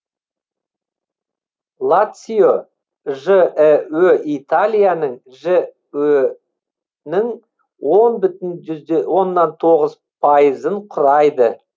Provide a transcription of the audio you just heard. лацио жіө италияның жө нің он бүтін оннан тоғыз пайызын құрайды